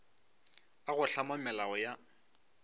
a go hlama melao ya